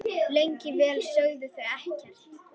Lengi vel sögðu þau ekkert.